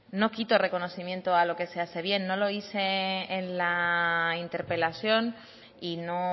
no quito reconocimiento a lo que se hace bien no lo hice en la interpelación y no